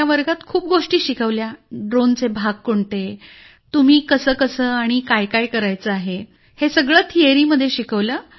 वर्गात खूप गोष्टी शिकवल्या ड्रोनचे भाग कोणते तुम्ही कसंकसं कायकाय करायचं आहे हे सगळं थिअरीमध्ये शिकवलं